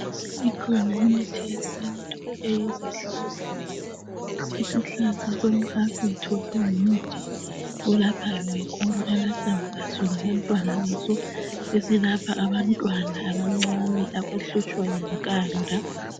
Ikhona imithi yesintu eyizihlahla. Isihlahla somhlafutho singumthi olaphayo kakhulu amahlamvu aso labantwana baso esilapha abantwana abancane abahlutshwa yinkanda